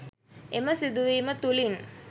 එම සිදුවීම තුළින්